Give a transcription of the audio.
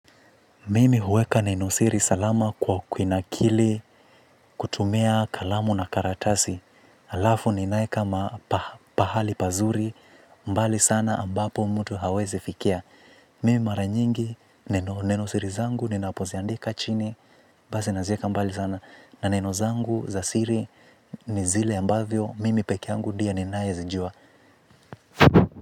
Mimi huweka neno siri salama kwa kuinakili kutumia kalamu na karatasi. Alafu ninaeka pahali pazuri mbali sana ambapo mtu hawezi fikia. Mimi maranyingi neno siri zangu ninapo ziandika chini. Basi nazieka mbali sana. Na neno zangu za siri nizile ambavyo mimi pekeangu ndie ninae zijua.